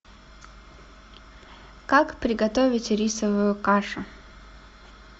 как приготовить рисовую кашу